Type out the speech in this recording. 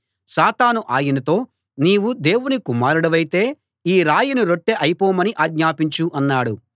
సాతాను ఆయనతో నీవు దేవుడి కుమారుడివైతే ఈ రాయిని రొట్టె అయిపోమని ఆజ్ఞాపించు అన్నాడు